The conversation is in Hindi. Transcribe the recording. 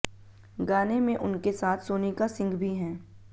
गाने में उनके साथ सोनिका सिंह भी हैं